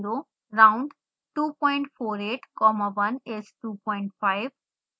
round 248 comma 1 is 25